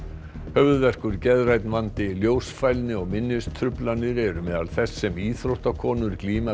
höfuðverkur geðrænn vandi ljósfælni og minnistruflanir eru meðal þess sem íþróttakonur glíma